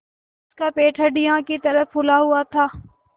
उसका पेट हंडिया की तरह फूला हुआ था